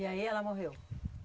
E aí ela morreu?